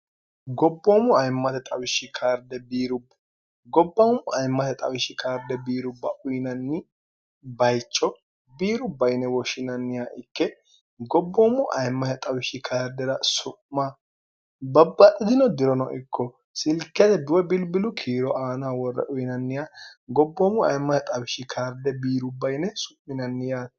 gobboommu ayimmate xawishshi karde biiru gobbaammu ayimmate xawishshi karde biirubba uyinanni bayico biiru baine woshshinannih ikke gobboommu aimmae xawishshi kardira su'ma babbadhitino dirono ikko silkete duwe bilbilu kiiro aana worre uyinanniha gobboomu ayimmae xawishshi karde biiru bayine su'minanniya